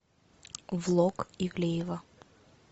влог ивлеева